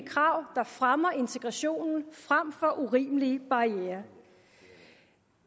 krav der fremmer integrationen frem for urimelige barrierer